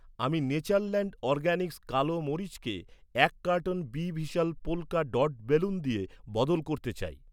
আমি Natureland Organics কালো মরিচকে এক কার্টন বি ভিশাল পোল্কা ডট বেলুন দিয়ে বদল করতে চাই।